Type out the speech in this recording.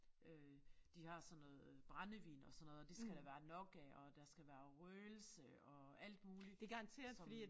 Øh de har sådan noget brændevin og sådan noget og det skal der være nok af og der skal være røgelse og alt muligt som